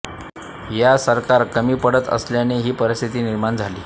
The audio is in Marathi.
या सरकार कमी पडत असल्याने ही परिस्थिती निर्माण झाली